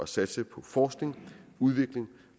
satse på forskning udvikling